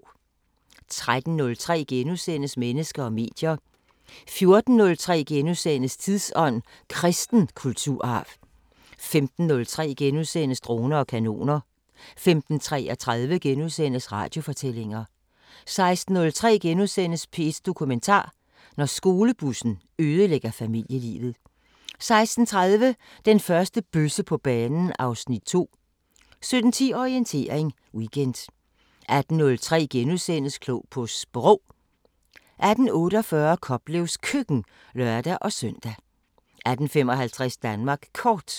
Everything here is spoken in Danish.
13:03: Mennesker og medier * 14:03: Tidsånd: Kristen kulturarv * 15:03: Droner og kanoner * 15:33: Radiofortællinger * 16:03: P1 Dokumentar: Når skolebussen ødelægger familielivet * 16:30: Den første bøsse på banen (Afs. 2) 17:10: Orientering Weekend 18:03: Klog på Sprog * 18:48: Koplevs Køkken (lør-søn) 18:55: Danmark Kort